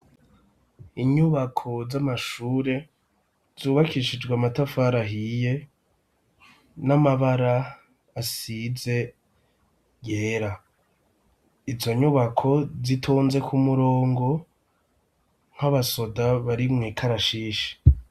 Inyubako z'amashure zubakishijwe amatafari ahiye n'amabara asize yera izo nyubako zitonze kumurongo nk'abasoda bari mw'ikarashishi.